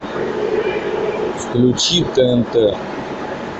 включи тнт